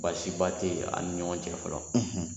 Basiba te an ni ɲɔgɔn cɛ fɔlɔ